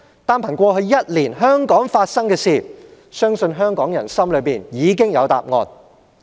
單憑過去一年香港發生的事情，相信香港人心中已有答案。